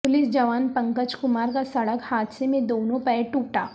police جوان پنکج کمارکا سڑک حادثہ میں دونوں پیر ٹوٹا